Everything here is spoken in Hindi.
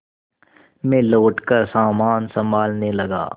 मैं लौटकर सामान सँभालने लगा